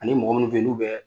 Ani mɔgɔ munun be yen n'u bɛ